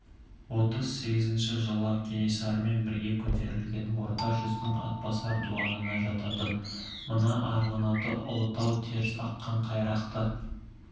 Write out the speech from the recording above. отыз сегізінші жылы кенесарымен бірге көтерілген орта жүздің атбасар дуанына жататын мына арғынаты ұлытау терісаққан қайрақты